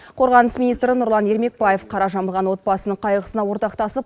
қорғаныс министрі нұрлан ермекбаев қара жамылған отбасының қайғысына ортақтасып